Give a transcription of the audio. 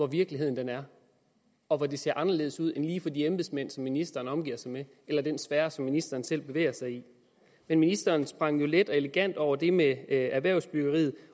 virkeligheden er og hvor den ser anderledes ud end lige for de embedsmænd som ministeren omgiver sig med eller i den sfære som ministeren selv bevæger sig i men ministeren sprang jo let og elegant over det med erhvervsbyggeriet